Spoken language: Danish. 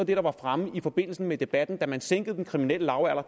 det der var fremme i forbindelse med debatten da man sænkede den kriminelle lavalder